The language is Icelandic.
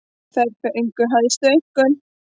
Þær fengu hæstu einkunn.